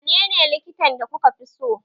Wanene likitan da kuka fi so?